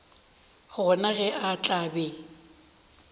gona ge a tla be